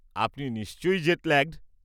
আপনি নিশ্চয়ই জেটল্যাগড।